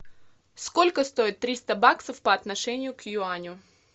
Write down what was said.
сколько стоит триста баксов по отношению к юаню